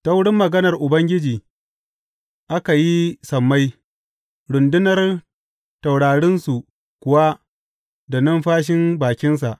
Ta wurin maganar Ubangiji aka yi sammai, rundunar taurarinsu kuwa da numfashin bakinsa.